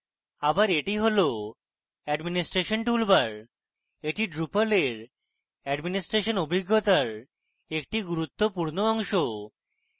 আবার এটি হল administration toolbar এটি drupal এর অ্যাডমিনিস্ট্রেশন অভিজ্ঞতার একটি গুরুত্বপূর্ণ অংশ